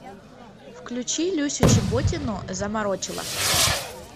включи люсю чеботину заморочила